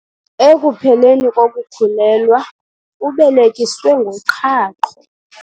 Ekupheleni kokukhulelwa ubelekiswe ngoqhaqho.